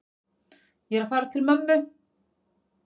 Ég er að fara til mömmu.